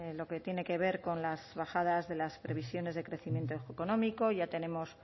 lo que tiene que ver con las bajadas de las previsiones de crecimiento económico ya tenemos